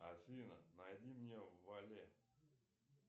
афина найди мне вале